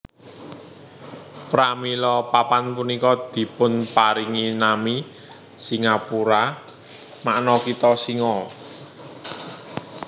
Pramila papan punika dipunparingi nami Singapura makna kitha singa